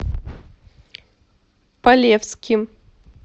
полевским